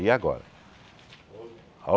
E agora?